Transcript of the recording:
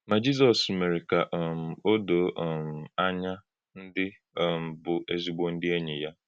Ma Jizọ́s mere ka um o doo um ànyá ndị um bụ́ ezigbo ndị enyi ya.